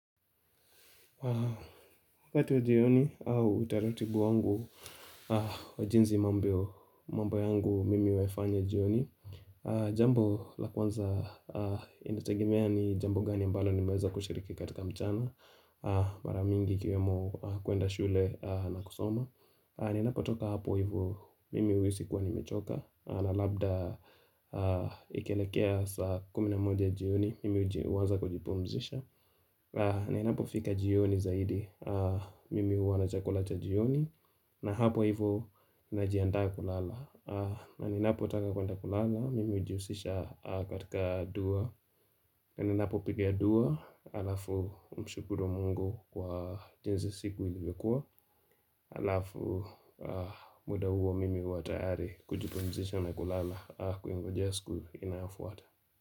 Wakati wa jioni au utaratibu wangu wa jinsi mambo yangu mimi huifanya jioni Jambo la kwanza inategemea ni jambo gani ambalo nimeweza kushiriki katika mchana Mara mingi ikiwemo kuenda shule na kusoma ninapotoka hapo hivo mimi huhisi kuwa nimechoka na labda ikielekea saa kumi na moja jioni mimi uanza kujipumzisha na inapo fika jioni zaidi, mimi huwa na chakula chajioni na hapo hivo na jiandaa kulala na ninapotaka kuenda kulala, mimi hujihusisha katika dua na ninapo pika dua, alafu mshukuru mungu kwa jinsi siku ilikuwa Halafu muda huwa mimi huwa tayari kujipumzisha na kulala kuingojea siku inayofuata.